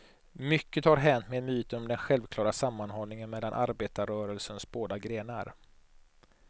Mycket har hänt med myten om den självklara sammanhållningen mellan arbetarrörelsens båda grenar.